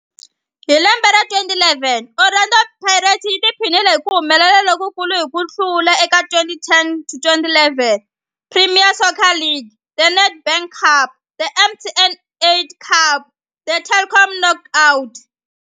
Hi lembe ra 2011, Orlando Pirates yi tiphinile hi ku humelela lokukulu hi ku hlula eka 2010 to 2011 Premier Soccer League, The Nedbank Cup, The MTN 8 Cup na The Telkom Knockout.